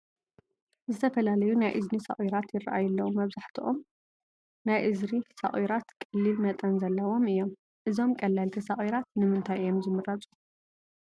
ዝተፈላለዩ ናይ እዝኒ ሶቒራት ይርአዩ ኣለዉ፡፡ መብዛሕትኦም ናይ እዝኒ ሶቒራት ቀሊል መጠን ዘለዎም እዮም፡፡ እዞም ቀለልቲ ሶቒራት ንምታይ እዮም ዝምረፁ?